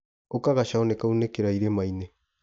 Ũka gacau nĩkaunĩkĩra irima-inĩ.